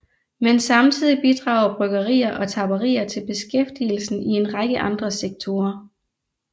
Men samtidig bidrager bryggerier og tapperier til beskæftigelsen i en række andre sektorer